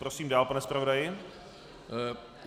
Prosím dál, pane zpravodaji.